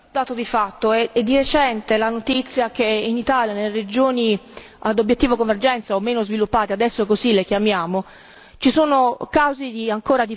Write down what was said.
È recente la notizia che in Italia, nelle regioni ad obiettivo convergenza o meno sviluppate adesso così le chiamiamo ci sono ancora casi di frode.